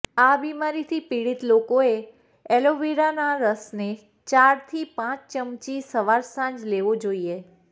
આ બીમારીથી પીડિત લોકોએ એલોવેરાના રસને ચારથી પાંચ ચમચી સવાર સાંજ લેવો જોઈએ